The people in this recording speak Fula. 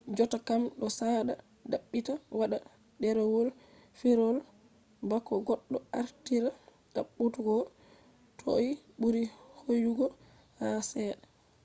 jottakam do sada dabbita wada derewol firawol bako goddo artira dabbutuggo toi buri hooyugo ha chede